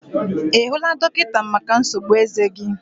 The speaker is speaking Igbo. I hụla dọkịta maka nsogbu eze gi?